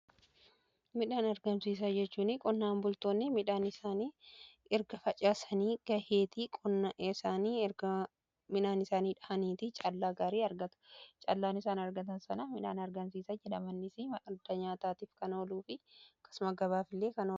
midhaan argamsiisa jechuun qonnaan bultoonni midhaan isaani erga facaasanii gaheetii qonna isaanii erga midhaa an isaanii dhaaniiti caalaa gaarii argata caallaan isaan argatan sana midhaan tumanii booda argamsiisa jedhama. Akka madda nyaataatiis kan ooluu fi akkasumas gabaaf illee kan ooludha.